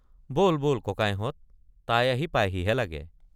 বল বল ককাইহঁত তাই আহি পাইহিহে লাগে।